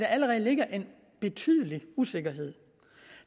allerede ligger en betydelig usikkerhed